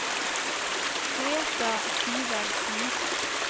Greta Syversen